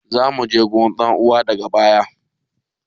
Za mu je wurin don rawa daga baya.